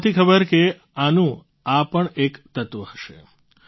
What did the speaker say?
મને નહોતી ખબર કે આનું આ પણ એક તત્ત્વ હશે